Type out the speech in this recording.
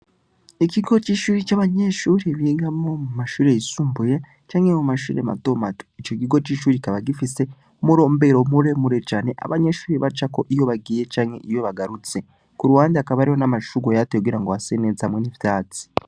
Ikigo c'ishuri c'abanyeshuri bigamo mu mashure yisumbuye canke mu mashure madomatu ico gigo c'isuri kikaba gifise umurombero mure mure cane abanyeshuri bacako iyo bagiye canke iyo bagarutse ku ruwandi akabariho n'amashuro yatu yogira ngo haseneza hamwe n'ivyatsi.